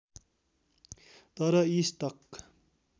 तर यी स्टक